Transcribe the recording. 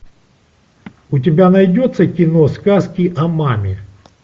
у тебя найдется кино сказки о маме